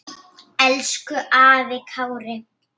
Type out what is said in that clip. Elsku afi Kári.